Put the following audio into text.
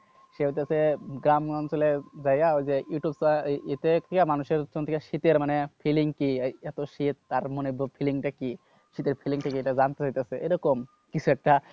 সে হইতাছে গ্রাম্য অঞ্চলের জায়গা ওই যে ইউটিউবটা মানুষের শীতের মানে feeling কি? এত শীত তার মনে feeling টা কি? সেটা feeling টা কি এটা জানতে চাইতাছে। এরকম কিছু একটা।